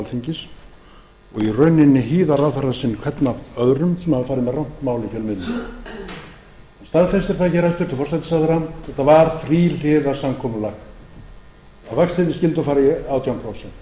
alþingis og í rauninni hýða ráðherra sína hvern af öðrum sem hafa farið með rangt mál í fjölmiðlum staðfestir það hér hæstvirtur forsætisráðherra að þetta var þríhliða samkomulag að vextirnir skyldu fara í átján